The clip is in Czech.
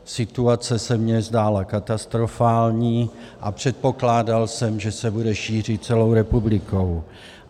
Situace se mi zdála katastrofální a předpokládal jsem, že se bude šířit celou republikou.